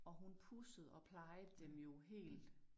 Og hun pudsede og plejede dem jo helt